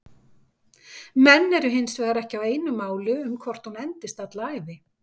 Menn eru hinsvegar ekki á einu máli um hvort hún endist alla ævi.